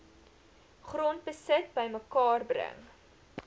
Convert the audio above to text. grondbesit bymekaar bring